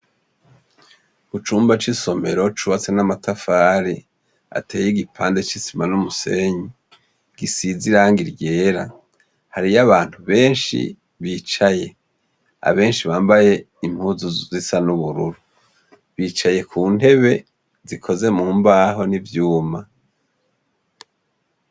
Mucumba c'isomero cubatswe n'amatafari ateye igipande c'isima n'umusenyi gisize irangi ryera hariyabantu beshi bicaye abeshi bambaye impuzu zisa n'ubururu bicaye kuntebe zikozwe mumbaho n'ivyuma.